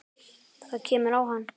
Það kemur á hann.